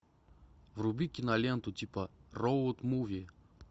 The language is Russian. вруби киноленту типа роуд муви